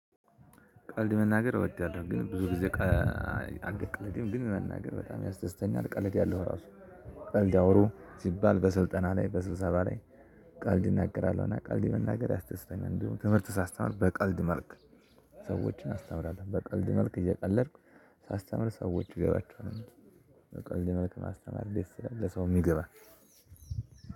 ቀልድ መናገር እወዳለሁ ግን ብዙ ጊዜ ቀ አልቀልድም ግን መናገር በጣም ያስደስተኛል እቀልዳለሁ ራሱ። ቀልድ ያለው ሲባል በስልጠና ላይ በስብሰባ ላይ። ቀልድ እናገራለሁ እና ቀልድ መናገር ያስደስተኛል እንድሁም ትምህርት ሳስተምር በቀልድ መልክ። ሰዎችን አስተምራለሁ በቀልድ መልክ እየቀለድኩ ሳስተምር ሰዎቹ ይገባቸዋል። በቀልድ መልኩ ማስተማር ደስ ይላላ ለሰውም ይገባል።